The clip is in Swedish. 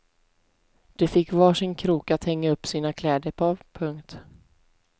De fick var sin krok att hänga upp sina kläder på. punkt